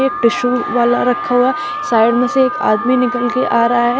Tissue वाला रखा हुआ है साइड में से एक आदमी निकल के आ रहा है।